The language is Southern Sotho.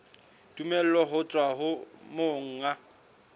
tumello ho tswa ho monga